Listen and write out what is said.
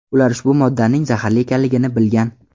Ular ushbu moddaning zaharli ekanligini bilgan.